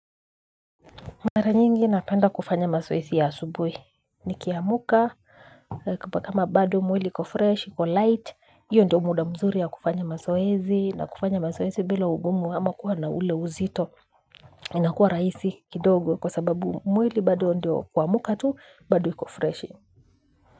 Mara nyingi napenda kufanya mazoezi ya asubuhi nikiamka kama bado mwili iko fresh, iko light, hiyo ndio muda mzuri ya kufanya mazoezi na kufanya mazoezi bila ugumu ama kuwa na ule uzito inakuwa rahisi kidogo kwa sababu mwili bado ndio kuamka tu bado iko freshi.